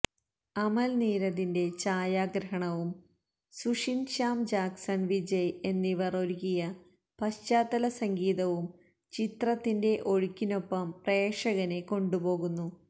അമൽ നീരദിന്റെ ഛായാഗ്രഹണവും സുഷിന് ശ്യാം ജാക്സണ് വിജയ് എന്നിവര് ഒരുക്കിയ പശ്ചാത്തല സംഗീതവും ചിത്രത്തിന്റെ ഒഴുക്കിനൊപ്പം പ്രേക്ഷകനെ കൊണ്ടുപോകുന്നു